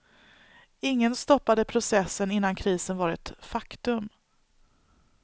Ingen stoppade processen innan krisen var ett faktum.